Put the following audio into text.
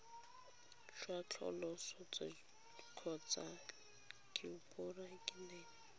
jwa tsosoloso kgotsa ke borakanelo